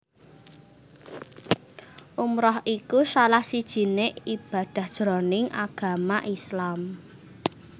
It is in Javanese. Umrah iku salah sijiné ibadah jroning agama Islam